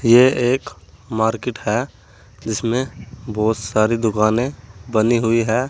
यह एक मार्केट है जिसमें बहुत सारी दुकानें बनी हुई हैं।